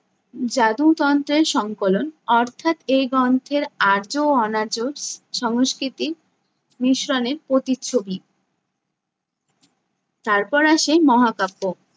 জাদুতন্ত্রের সংকলন অর্থাৎ এই গ্রন্থের আর্য ও অনার্য স~ সংস্কৃতি মিশ্রণের প্ৰতিচ্ছবি । তারপর আসে মহাকাব্য।